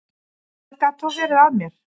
Hvað gat þá verið að mér?